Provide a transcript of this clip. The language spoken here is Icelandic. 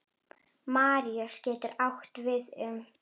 Maríus getur átt við um